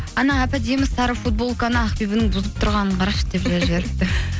әп әдемі сары футболканы ақбибінің бұзып тұрғанын қарашы деп жазып жіберіпті